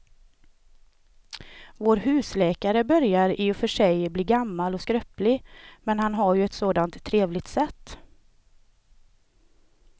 Vår husläkare börjar i och för sig bli gammal och skröplig, men han har ju ett sådant trevligt sätt!